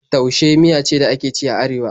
Taushe miya ce da ake ci a Arewa.